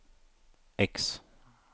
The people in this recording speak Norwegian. X